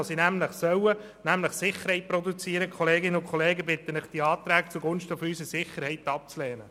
Ich bitte Sie, diese Anträge zugunsten unserer Sicherheit abzulehnen.